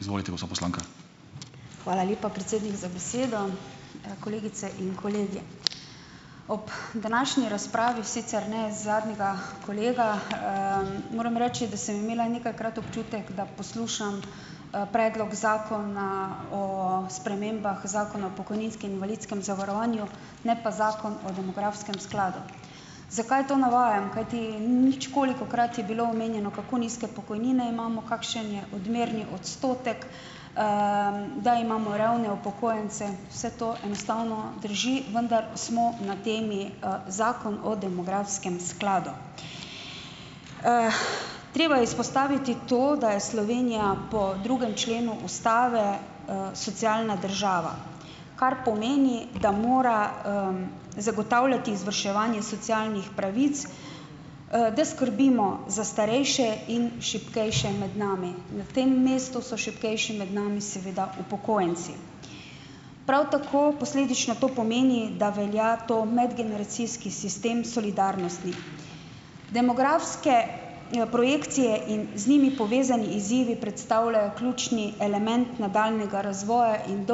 Izvolite, gospa poslanka. Hvala lepa, predsednik za besedo, kolegice in kolegi. Ob današnji razpravi, sicer ne zadnjega kolega, moram reči, da sem imela nekajkrat občutek, da poslušam, predlog zakona o spremembah zakona o pokojninskem invalidskem zavarovanju, ne pa zakon o demografskem skladu. Zakaj to navajam? Kajti ničkolikokrat je bilo omenjeno, kako nizke pokojnine imamo, kakšen je odmerni odstotek, da imamo revne upokojence, vse to enostavno drži, vendar smo na temi, zakon o demografskem skladu. treba je izpostaviti to, da je Slovenija po drugem členu ustave, socialna država, kar pomeni, da mora, zagotavljati izvrševanje socialnih pravic, da skrbimo za starejše in šibkejše med nami, na tem mestu so šibkejši med nami seveda upokojenci, prav tako posledično to pomeni, da velja ta medgeneracijski sistem solidarnosti. Demografske projekcije in z njimi povezani izzivi predstavljajo ključni element nadaljnjega razvoja in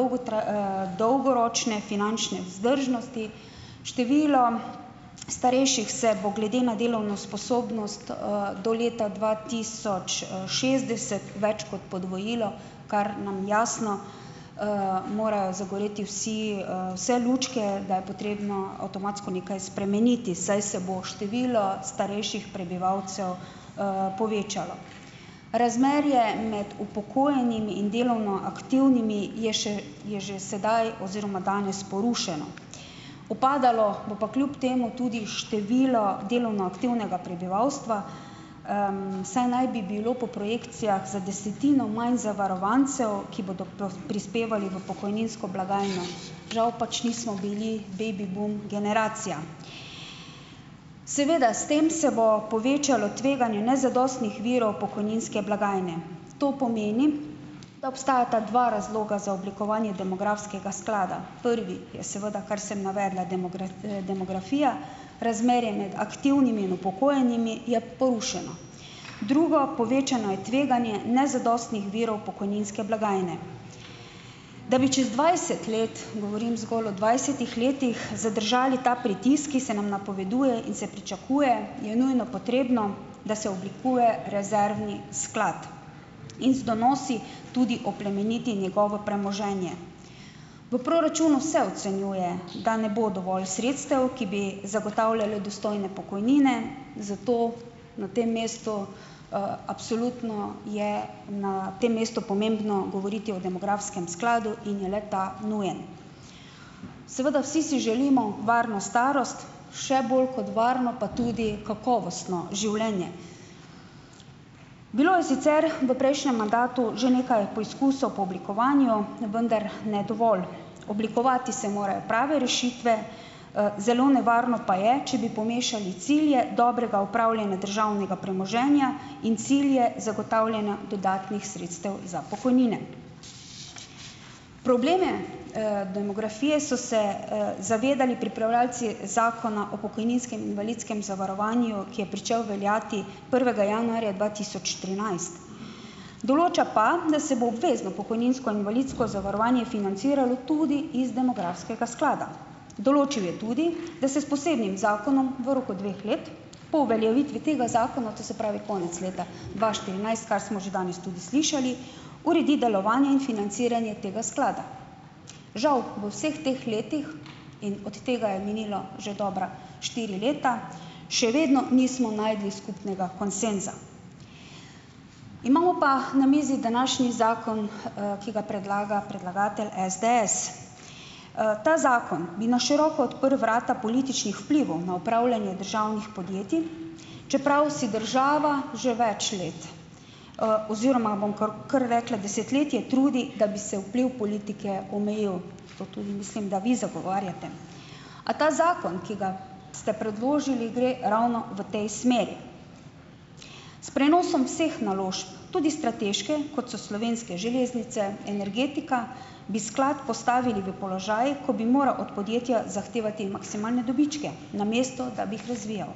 dolgoročne finančne vzdržnosti, število starejših se glede na delovno sposobnost, do leta dva tisoč, šestdeset več kot podvojilo, kar nam jasno, morajo zagoreti vsi, vse lučke, da je potrebno avtomatsko nekaj spremeniti, saj se bo število starejših prebivalcev, povečalo, razmerje med upokojenimi in delovno aktivnimi je še, je že sedaj oziroma danes porušeno, upadalo bo pa kljub temu tudi število delovno aktivnega prebivalstva, saj naj bi bilo po projekcijah za desetino manj zavarovancev, ki bodo prispevali v pokojninsko blagajno, žal pač nismo bili baby boom generacija, seveda s tem se bo povečalo tveganje nezadostnih virov pokojninske blagajne, to pomeni, da obstajata dva razloga za oblikovanje demografskega sklada. Prvi je seveda, kar sem navedla, demografija, razmerje med aktivnimi in upokojenimi je porušeno, drugo, povečano je tveganje nezadostnih virov pokojninske blagajne, da bi čez dvajset let, govorim zgolj o dvajsetih letih, zadržali ta pritisk, ki se nam napoveduje in se pričakuje, je nujno potrebno, da se oblikuje rezervni sklad in z donosi tudi oplemeniti njegovo premoženje. V proračunu se ocenjuje, da ne bo dovolj sredstev, ki bi zagotavljale dostojne pokojnine, zato na tem mestu, absolutno je na tem mestu pomembno govoriti o demografskem skladu in je le-ta nujen, seveda vsi si želimo varno starost, še bolj kot varno pa tudi kakovostno življenje. Bilo je sicer v prejšnjem mandatu že nekaj poskusov po oblikovanju, vendar ne dovolj, oblikovati se morajo prave rešitve, zelo nevarno pa je, če bi pomešali cilje dobrega upravljanja državnega premoženja in cilje zagotavljanja dodatnih sredstev za pokojnine. Probleme, demografije so se, zavedali pripravljavci zakona o pokojninskem in invalidskem zavarovanju, ki je pričel veljati prvega januarja dva tisoč trinajst, določa pa, da se bo obvezno pokojninsko in invalidsko zavarovanje financiralo tudi iz demografskega sklada, določil je tudi, da se s posebnim zakonom v roku dveh let po uveljavitvi tega zakona, to se pravi konec leta dva štirinajst, kar smo že danes tudi slišali, uredi delovanje in financiranje tega sklada. Žal v vseh teh letih, in od tega je minilo že dobra štiri leta, še vedno nismo našli skupnega konsenza, imamo pa na mizi današnji zakon, ki ga predlaga predlagatelj SDS, ta zakon bi na široko odprl vrata političnih vplivom na upravljanje državnih podjetij, čeprav si država že več let, oziroma bom kar, kar rekla desetletje trudi, da bi vpliv politike omejili, to tudi mislim, da vi zagovarjate, a ta zakon, ki ga ste predložili, gre ravno v tej smeri, s prenosom vseh naložb tudi strateške, kot so Slovenske železnice, energetika, bi sklad postavili v položaj, ko bi moral od podjetja zahtevati maksimalne dobičke, namesto da bi jih razvijal.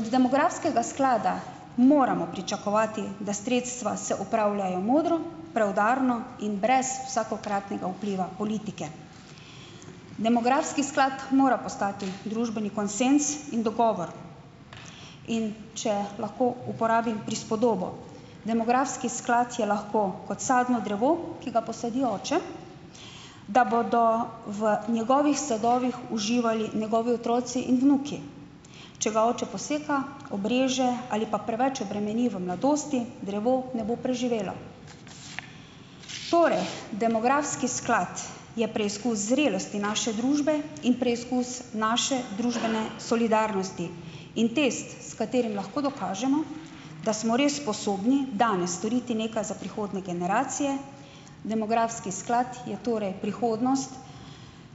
Od demografskega sklada moramo pričakovati, da sredstva se upravljajo modro preudarno in brez vsakokratnega vpliva politike, demografski sklad mora postati družbeni konsenz in dogovor, in če lahko uporabim prispodobo, demografski sklad je lahko kot sadno drevo, ki ga posadi oče, da bodo v njegovih sadovih uživali njegovi otroci in vnuki, če ga oče poseka, obreže ali pa preveč obremeni v mladosti, drevo ne bo preživelo, torej demografski sklad je preizkus zrelosti naše družbe in preizkus naše družbene solidarnosti in test, s katerim lahko dokažemo, da smo res sposobni danes storiti nekaj za prihodnje generacije. Demografski sklad je torej prihodnost,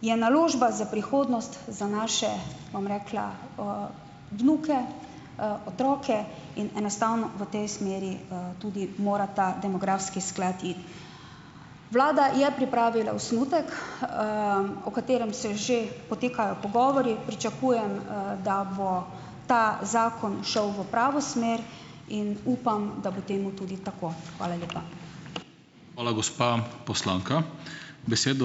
je naložba za prihodnost za naše, bom rekla, vnuke, otroke in enostavno v tej smeri, tudi mora ta demografski sklad ... Vlada je pripravila osnutek, o katerem se že potekajo pogovori pričakujem, da bo ta zakon šel v pravo smer, in upam, da bo temu tudi tako. Hvala lepa. Hvala, gospa poslanka, besedo ...